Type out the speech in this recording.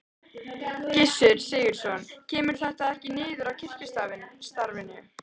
Gissur Sigurðsson: Kemur þetta ekkert niður á kirkjustarfinu?